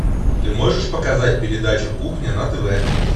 ты можешь показать передачу кухня на тв